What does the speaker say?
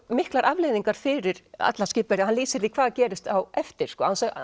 miklar afleiðingar fyrir alla skipverja hann lýsir því hvað gerist á eftir án þess að